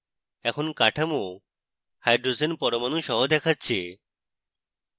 এখন কাঠামো hydrogen পরমাণু সহ দেখাচ্ছে